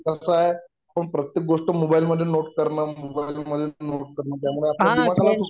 कसाय आपण प्रत्येक गोष्ट मोबाईल मधे नोट करनार मोबाईल मधे नोट करणार त्यामुळे आपल्या दिमागावर